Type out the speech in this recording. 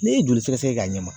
N'i ye joli sɛgɛsɛgɛ kɛ a ɲɛ ma